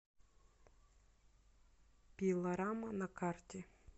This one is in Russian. пилорама на карте